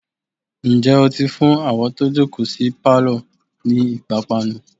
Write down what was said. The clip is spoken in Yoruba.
ǹjẹ́ ó ti fún àwọn tó jòkó sí pálọ̀ ni ìpápánu?